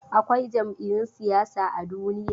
Akwai jam'iyun siyasa a duniya.